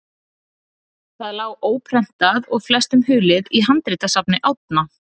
Það lá óprentað og flestum hulið í handritasafni Árna.